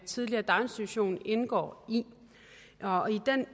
tidligere daginstitution indgår i